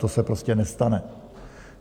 To se prostě nestane.